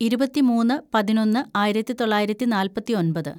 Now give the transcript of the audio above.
ഇരുപത്തിമൂന്ന് പതിനൊന്ന് ആയിരത്തിതൊള്ളായിരത്തി നാല്‍പത്തിയൊമ്പത്‌